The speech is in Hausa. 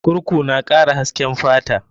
Kurku na kara hasken fata.